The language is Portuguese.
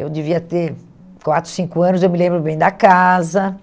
Eu devia ter quatro, cinco anos, eu me lembro bem da casa,